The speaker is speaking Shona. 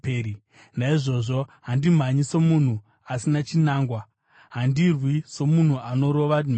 Naizvozvo handimhanyi somunhu asina chinangwa; handirwi somunhu anorova mhepo.